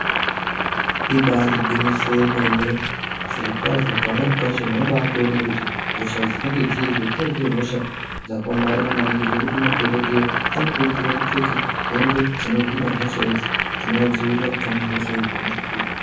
Ibairi ngwinyiso yemene zviro kwazvo pamweni pacho munobai toone kuti hosha dzinenge dziriyo dzinenge dziri hosha dzaka omarara maningi zvekuti madhokodheya ano kurudzirwa kupfeke hembe dzino hina hosha idzi dzinova dzivirira kubva mu hosha idzona idzodzo.